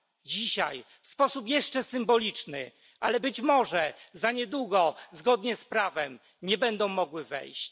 dzisiaj w sposób jeszcze symboliczny, ale być może niedługo zgodnie z prawem, nie będą mogły wejść.